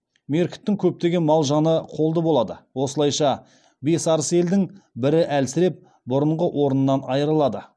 меркіттің көптеген мал жаны қолды болады осылайша бес арыс елдің бірі әлсіреп бұрынғы орнынан айырылады